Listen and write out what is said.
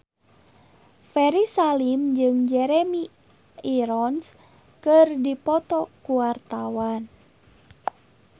Ferry Salim jeung Jeremy Irons keur dipoto ku wartawan